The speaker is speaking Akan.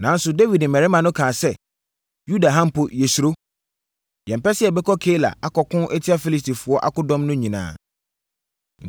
Nanso, Dawid mmarima no kaa sɛ, “Yuda ha mpo yɛsuro. Yɛmpɛ sɛ yɛbɛkɔ Keila akɔko atia Filistifoɔ akodɔm no nyinaa.”